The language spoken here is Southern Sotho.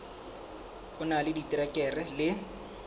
o na le diterekere le